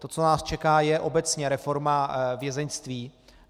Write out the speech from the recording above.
To, co nás čeká, je obecně reforma vězeňství.